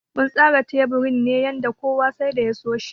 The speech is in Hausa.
Mun tsara teburin ne yanda kowa sai da ya so shi.